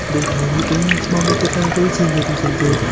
Dunyoning eng yaxshi mamlakatlari reytingi tuzildi.